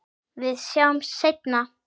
Við sjáumst seinna.